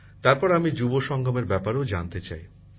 তারপর আমি যুব সংগমের ব্যাপারেও জানতে চাই